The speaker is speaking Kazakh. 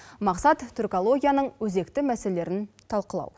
мақсат түркологияның өзекті мәселелерін талқылау